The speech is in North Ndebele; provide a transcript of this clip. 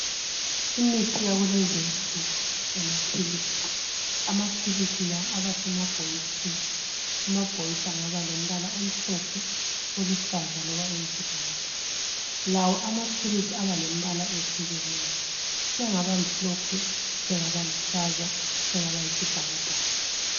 Imithi yakulezinsuku, amaphilisi. Amaphilisi la abasemabhokisini, amabhokisi angaba lombala omhlophe, oluhlaza loba okwesibhakabhaka. Lawo amaphilisi aba lembala ehlukeneyo. Sengaba mhlophe, sengaba luhlaza sengaba yisibhakabhaka.